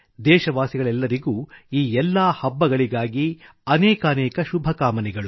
ದೇಶವಾಸಿಗಳೆಲ್ಲರಿಗೆ ಈ ಎಲ್ಲಾ ಹಬ್ಬಗಳಿಗಾಗಿ ಅನೇಕಾನೇಕ ಶುಭಕಾಮನೆಗಳು